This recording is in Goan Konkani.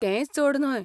तेंय चड न्हय.